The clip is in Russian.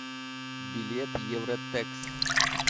билет евротекс